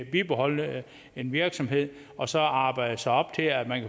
bibeholde en virksomhed og så arbejde sig op til at